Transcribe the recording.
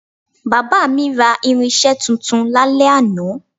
Bàbá mi ra irinsé tuntun lálẹ́ àná